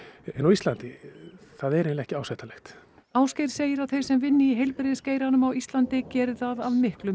en á Íslandi það er eiginlega ekki ásættanlegt Ásgeir segir að þeir sem vinni í heilbrigðisgeiranum á Íslandi geri það af miklum